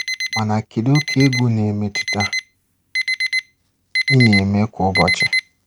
Mana kedụ oke egwu na-emetụta ị na-eme kwa ụbọchị.